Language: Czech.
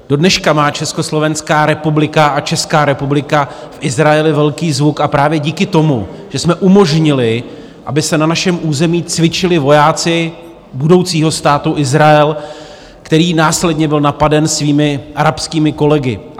Dodneška má Československá republika a Česká republika v Izraeli velký zvuk a právě díky tomu, že jsme umožnili, aby se na našem území cvičili vojáci budoucího Státu Izrael, který následně byl napaden svými arabskými kolegy.